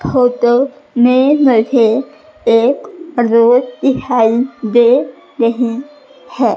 Photo में मुझे एक रोड दिखाई दे रही है।